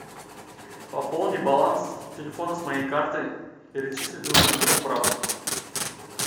пополни баланс телефона с моей карты перечислить нужно моему брату